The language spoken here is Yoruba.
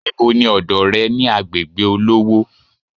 Níbo ni ọ̀dọ̀ re ni agbègbè olówó